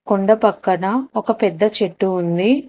కొండ పక్కన ఒక పెద్ద చెట్టు ఉంది.